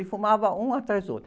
E fumava um atrás do outro.